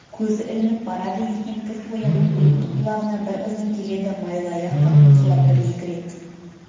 көзі ілініп барады екен кілт оянып көтті құлағына бір ызың келеді майлыаяқ та қыңсылап бір-екі рет